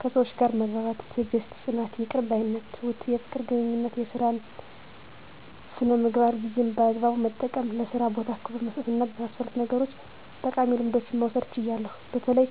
ከሰዎች ጋር መግባባት፣ ትዕግስት፣ ጽናት፣ ይቅር ባይነት፣ ትሁት፣ የፍቅር ግንኙነት፣ የሥራ ሥነ ምግባር፣ ጊዜን በአግባቡ መጠቀም፣ ለሥራ ቦታ ክብር በመስጠትና በመሳሰሉት ነገሮች ጠቃሚ ልምዶችን መውሰድ ችያለሁ። በተለይ